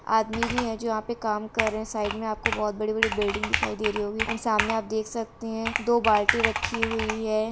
आदमी भी है जो वह पर काम कर रहे है साइड मे आपको बहोत बड़ी बड़ी बिल्डिंग दिखाई दे रही होंगी एण्ड सामने आप देख सकते है दो बाल्टी राखी हुई है ।